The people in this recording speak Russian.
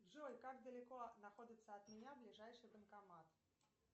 джой как далеко находится от меня ближайший банкомат